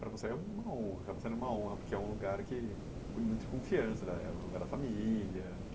Para você é uma honra, para você é uma honra, porque é um lugar que de muita confiança, é um lugar da família.